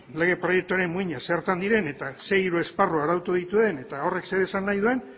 lege proiektuaren muinak zertan diren eta ze hiru esparru arautu dituen eta horrek zer esan nahi duen